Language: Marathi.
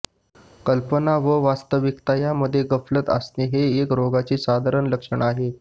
कल्पना व वास्तविकता यांमध्ये गफलत असणे हे या रोगाचे साधारण लक्षण आहे